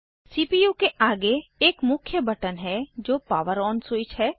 CPU के आगे एक मुख्य बटन है जो पॉवर ऑन स्विच है